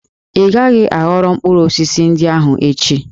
Ị ghaghị ịghọrọ mkpụrụ osisi ndị ahụ echi!